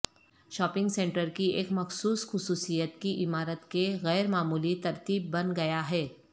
shopping centre کی ایک مخصوص خصوصیت کی عمارت کے غیر معمولی ترتیب بن گیا ہے